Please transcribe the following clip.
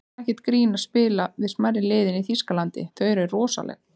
Það er ekkert grín að spila við smærri liðin í Þýskalandi, þau eru rosaleg.